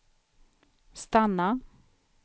stanna